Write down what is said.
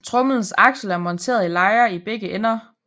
Tromlens aksel er monteret i lejer i begge ender